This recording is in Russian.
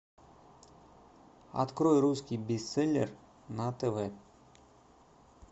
открой русский бестселлер на тв